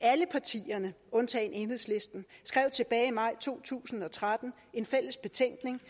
alle partierne undtagen enhedslisten skrev tilbage i maj to tusind og tretten en fælles betænkning